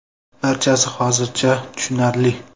Barchasi hozircha tushunarli.